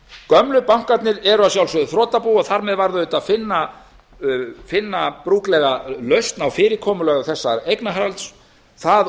gömlu bankarnir eru að sjálfsögðu þrotabú og þar með varð auðvitað að finna brúklega lausn á fyrirkomulagi þessa eignarhalds það